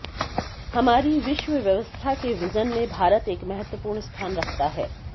हमारी विश्व व्यवस्था के विज़न में भारत एक महत्वपूर्ण स्थान रखता है